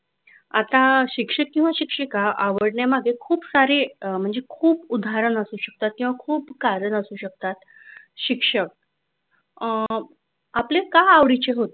आता शिक्षक किंवा शिक्षिका आवडण्यामागे खूप सारे म्हणजे खूप उदाहरण असू शकत किंवा खूप कारण असू शकतात.